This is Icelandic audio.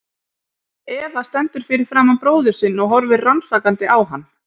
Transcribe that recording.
Eva stendur fyrir framan bróður sinn og horfir rannsakandi á hann.